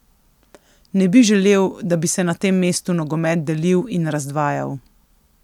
Ne bi želel, da bi se na tem mestu nogomet delil in razdvajal.